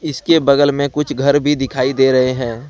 इसके बगल में कुछ घर भी दिखाई दे रहे हैं।